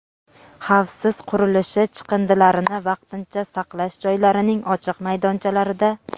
xavfsiz qurilishi chiqindilarini vaqtincha saqlash joylarining ochiq maydonchalarida;.